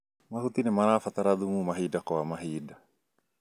Mahuti nĩmarabatra thumu mahinda kwa mahinda